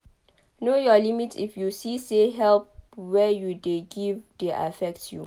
Know your limit if you see say help wey you dey give dey affect you